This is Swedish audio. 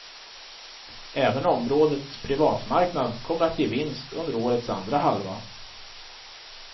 Även området privatmarknad kommer att ge vinst under årets andra halva.